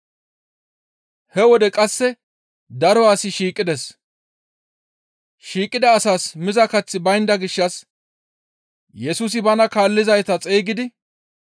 He wode qasse daro asi shiiqides. Shiiqida asaas miza kaththi baynda gishshas Yesusi bana kaallizayta xeygidi,